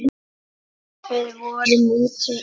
Við vorum úti í